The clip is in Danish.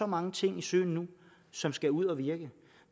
mange ting i søen som skal ud at virke